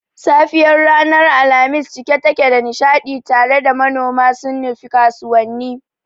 safiyar ranar Alhamis cike take da nishadi tare da manoma sun nufi kasuwanni.